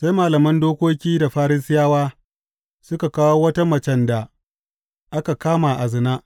Sai malaman dokoki da Farisiyawa suka kawo wata macen da aka kama a zina.